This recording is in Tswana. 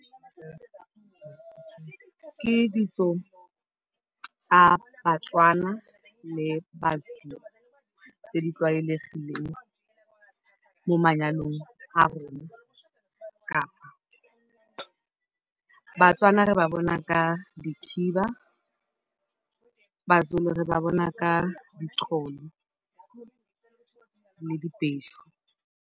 Ke ditso tsa Batswana le Mazulu tse di tlwaelegileng mo manyalong a rona ka fa. Batswana re ba bona ka dikhiba. Mazulu re ba bona ka dicholo le dibeshu.